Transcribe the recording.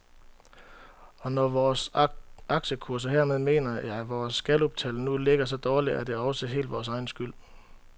Og når vores aktiekurser, hermed mener jeg vores galluptal, nu ligger så dårligt, er det også helt vores egen skyld.